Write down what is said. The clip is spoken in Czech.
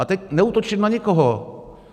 A teď neútočím na nikoho.